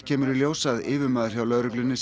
kemur í ljós að yfirmaður hjá lögreglunni